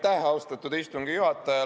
Aitäh, austatud istungi juhataja!